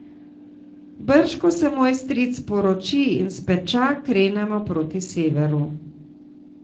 Brž ko se moj stric poroči in speča, krenemo proti severu.